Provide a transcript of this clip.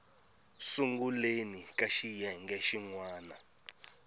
sunguleni ka xiyenge xin wana